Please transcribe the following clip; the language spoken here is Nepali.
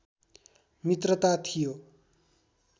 मित्रता थियो